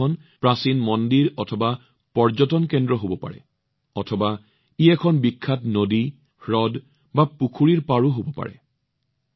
এই ঠাইখন প্ৰাচীন মন্দিৰ আৰু পৰ্যটন কেন্দ্ৰ হব পাৰে বা ই এখন বিখ্যাত নদী হ্ৰদ বা পুখুৰীও হব পাৰে